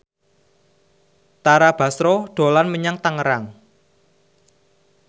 Tara Basro dolan menyang Tangerang